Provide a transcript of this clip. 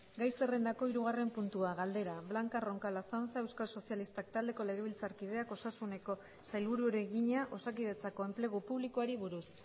gai zerrendako hirugarren puntua galdera blanca roncal azanza euskal sozialistak taldeko legebiltzarkideak osasuneko sailburuari egina osakidetzako enplegu publikoari buruz